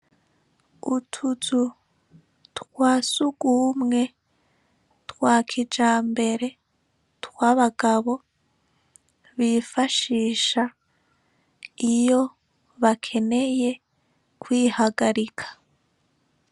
Utuzu twa sugumwe twa kija mbere tw abagabo bifashisha iyo bakeneye kwihagarika.